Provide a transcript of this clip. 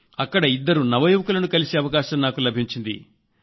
అక్కడ ఇద్దరు నవయువకులను కలిసే అవకాశం నాకు లభించింది